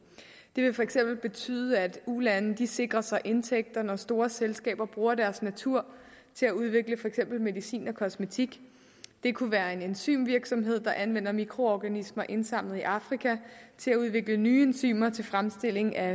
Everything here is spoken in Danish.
det vil for eksempel betyde at ulande sikrer sig indtægter når store selskaber bruger landenes natur til at udvikle for eksempel medicin og kosmetik det kunne være en enzymvirksomhed der anvender mikroorganismer indsamlet i afrika til at udvikle nye enzymer til fremstilling af